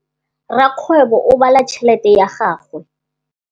Rakgwêbô o bala tšheletê ya gagwe.